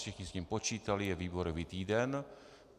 Všichni s tím počítali, je výborový týden.